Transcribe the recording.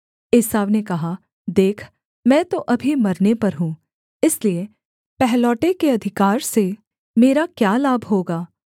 एसाव ने कहा देख मैं तो अभी मरने पर हूँ इसलिए पहलौठे के अधिकार से मेरा क्या लाभ होगा